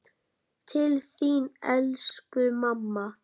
Til þín elsku mamma.